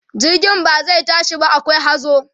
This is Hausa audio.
jirgin ba zai tashi ba akwai hazo